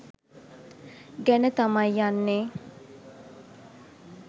ගැන තමයි යන්නේ.